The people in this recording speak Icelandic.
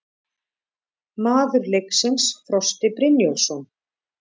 Maður leiksins: Frosti Brynjólfsson